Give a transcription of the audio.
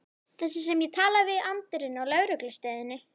Þessi sem ég talaði við í anddyrinu á lögreglustöðinni.